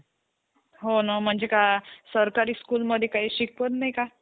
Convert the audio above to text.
तितकं इतकं मजा येतो theater मधी. ते पठाण movie चा song लागलं, . ते song वर नाई का पूर्ण theater चे लोक नाई का,